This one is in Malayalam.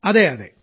അതെ അതെ